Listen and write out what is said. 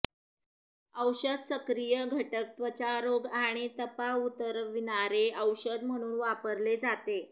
औषध सक्रिय घटक त्वचा रोग आणि तपा उतरविणारे औषध म्हणून वापरले जाते